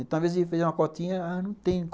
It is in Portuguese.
Então, às vezes, eu ia fazer uma cotinha, ah, não tem.